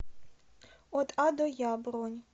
от а до я бронь